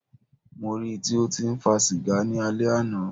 Mó rí í tí o tí ń fa sìgá ni alẹ́ àná.